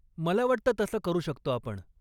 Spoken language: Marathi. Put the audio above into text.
मला वाटतं तसं करू शकतो आपण.